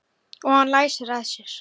Og hann læsir að sér.